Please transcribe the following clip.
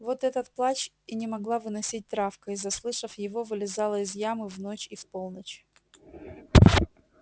вот этот плач и не могла выносить травка и заслышав его вылезала из ямы в ночь и в полночь